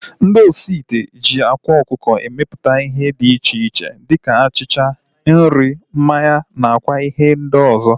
Ndị osi ite ji ákwá ọkụkọ emeputa ihe dị iche iche dịka achịcha, nri, mmanya na kwa ihe ndị ọzọ